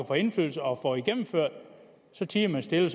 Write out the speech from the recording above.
få indflydelse og få tingene gennemført tier man stille